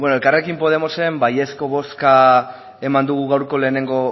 elkarrekin podemosen baiezko bozka eman dugu gaurko lehenengo